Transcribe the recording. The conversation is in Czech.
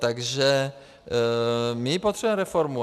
Takže my potřebujeme reformu.